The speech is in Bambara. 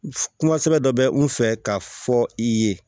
Kuma sɛbɛn dɔ bɛ n fɛ ka fɔ i ye